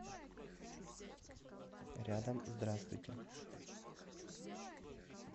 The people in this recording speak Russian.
рядом здравствуйте